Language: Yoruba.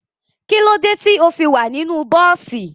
Kílódé tí o fi wà nínú bọ́ọ́sì?